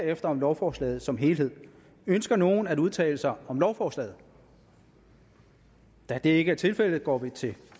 herefter om lovforslaget som helhed ønsker nogen at udtale sig om lovforslaget da det ikke er tilfældet går vi til